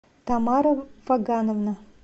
тамара фагановна